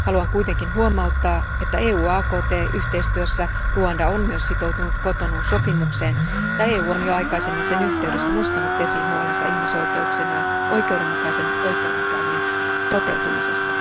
Haluan kuitenkin huomauttaa, että EU AKT yhteistyössä Ruanda on myös sitoutunut Cotonoun sopimukseen ja EU on jo aikaisemmin sen yhteydessä nostanut esiin huolensa ihmisoikeuksien ja oikeudenmukaisen oikeudenkäynnin toteutumisesta.